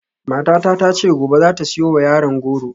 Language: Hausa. Matata ta ce gobe za ta siyo wa yaran goro.